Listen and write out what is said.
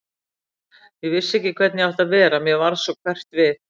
Ég vissi ekki hvernig ég átti að vera, mér varð svo hverft við.